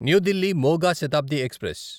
new Delhi Moga Shatabdi express